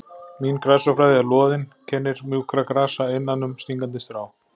Mín grasafræði er loðin kennir mjúkra grasa innan um stingandi strá